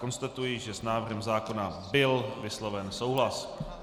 Konstatuji, že s návrhem zákona byl vysloven souhlas.